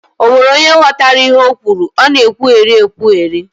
Ọ nwere onye ghọtara ihe ọ kwuru? Ọ na ekwugheri ekwugheri